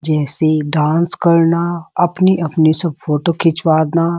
जैस डांस करना अपनी-अपनी सब फोटो खिचवाना --